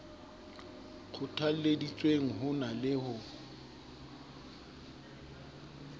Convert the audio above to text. kgothalleditsweng ho na le ho